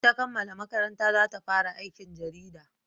In ta kammala makaranta za ta fara aikin jarida